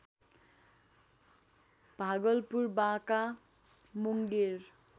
Bhagalpur Banka Munger